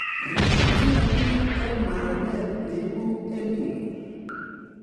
Riib kiagik eng maranet neibu EL Nino